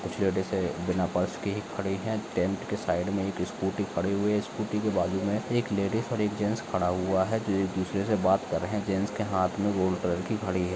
कुछ लेडीस है बिना पर्स की ही खड़ी है। टेंट के साइड में एक स्कूटी खड़ी हुई है स्कूटी के बाजू में एक लेडीज और एक जैंट्स खड़ा हुआ हैजो एक दूसरे से बात कर रहे है जैंट्स के हाथ मे गोल्ड कलर की घडी है।